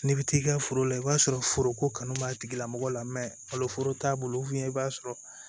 N'i bɛ t'i ka foro la i b'a sɔrɔ foroko kanu b'a tigila mɔgɔ la foro t'a bolo i b'a sɔrɔ